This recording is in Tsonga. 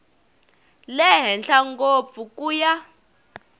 le henhla ngopfu ku ya